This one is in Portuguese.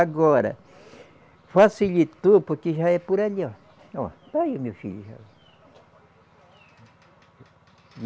Agora, facilitou porque já é por ali, ó. Ó, está aí o meu filho já.